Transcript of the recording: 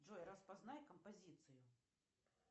джой распознай композицию